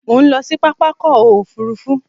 Mò ń lọ sí pápákọ̀ òfurufú.